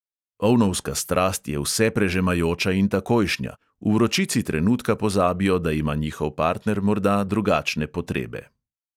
Ovnovska strast je vseprežemajoča in takojšnja; v vročici trenutka pozabijo, da ima njihov partner morda drugačne potrebe.